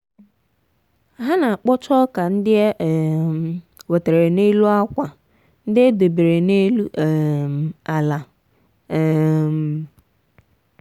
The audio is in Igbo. ha na-akpọcha ọka ndị e um wetara n’elu akwa ndị e debere n’elu um ala. um